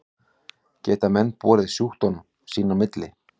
Geta menn borið sjúkdóminn sín á milli?